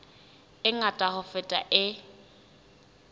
e ngata ho feta e